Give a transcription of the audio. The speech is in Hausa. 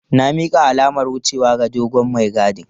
Na mika alamar wucewa ga dogon mai gadin.